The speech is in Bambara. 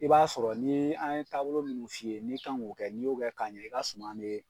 I b'a sɔrɔ ni an ye taabolo minnu f'i ye n'i kan k'o kɛ n'i y'o k'a ɲɛ i ka suman be